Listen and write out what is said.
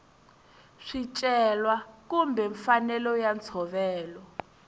swicelwa kumbe mfanelo ya ntshovelo